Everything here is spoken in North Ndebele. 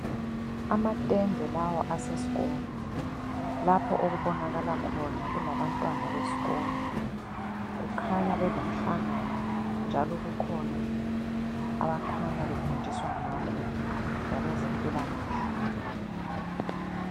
Amatende lawa asesikolo, lapho okubonakala khona kulabantwana besikolo. Kukhanya belomhlangano njalo kukhona abakhanya befundiswa ngakho ngokwezempilakahle.